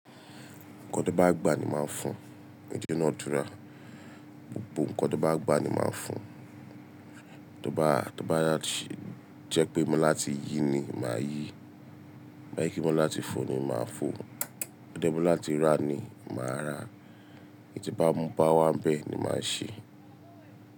Ǹkan tóbá gbà ni máa fún. Gbogbo ǹkan tóbá gbà ni máa fún tó bá, tó bá jẹ́ pé mo láti yí ni màá yí, tó bá jẹ́ pé mo láti fò ni màá fò, tó bá jẹ́ pé láti rà ni màá rà, èyí tí bá ń bá wa bẹ́ẹ̀ ni màá ṣe.